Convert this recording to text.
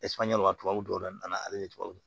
tubabuw yɛrɛ nana ale ni tubabuw